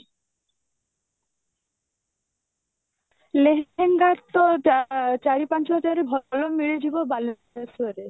ଲେହେଙ୍ଗା ତ ଚାରି ପାଞ୍ଚ ହଜାର ରେ ଭଲ ମିଳିଯିବ ବାଲେଶ୍ଵର ରେ